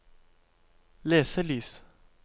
leselys